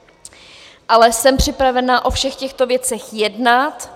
Ale jsem připravena o všech těchto věcech jednat.